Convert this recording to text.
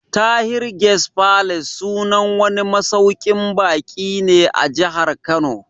Tahir Guest Palace sunan wani masauƙin baƙi ne a Jahar Kano